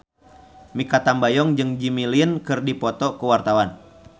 Mikha Tambayong jeung Jimmy Lin keur dipoto ku wartawan